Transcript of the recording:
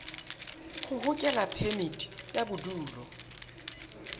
ho hokela phemiti ya bodulo